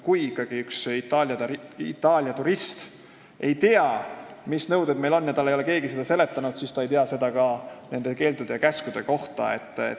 Kui ikkagi üks Itaalia turist ei tea, mis nõuded meil on, ja talle ei ole keegi seda seletanud, siis ta ei tea midagi ka nende keeldude ja käskude kohta.